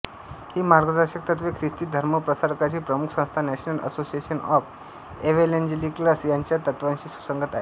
ही मार्गदर्शक तत्त्वे ख्रिस्ती धर्मप्रसारकांची प्रमुख संस्था नॅशनल असोसिएशन ऑफ एव्हेंजलिकल्स यांच्या तत्त्वांशी सुसंगत आहेत